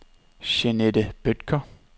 Jeanette Bødker